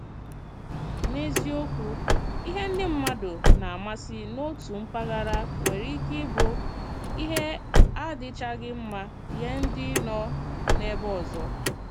N’eziokwu, ihe ndị mmadụ nā-amasị n’òtù mpaghara nwere ike ịbụ ihe na-adịchaghị mma nye ndị nọ n’ébè ọzọ.